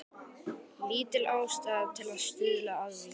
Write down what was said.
Lítil ástæða til að stuðla að því.